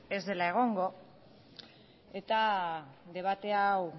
ez dela egongo eta debatea hau